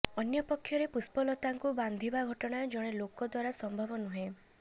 ଅନ୍ୟପକ୍ଷରେ ପୁଷ୍ପଲତାଙ୍କୁ ବାନ୍ଧିବା ଘଟଣା ଜଣେ ଲୋକ ଦ୍ୱାରା ସମ୍ଭବ ନୁହେଁ